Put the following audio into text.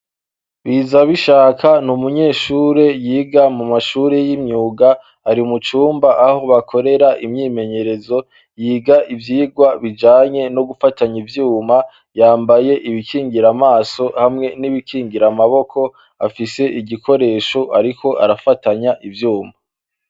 Biza bishaka ni umunyeshure yiga mu mashuri y'imyuga ari mucumba aho bakorera imyimenyerezo yiga ivyirwa bijanye no gufatanya ivyuma yambaye ibikingira amaso hamwe n'ibikingira amaboko afise igikoresho, ariko arafatanya ivyumba.